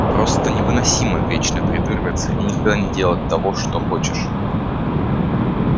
просто невыносимо вечно придуриваться и никогда не делать того что хочешь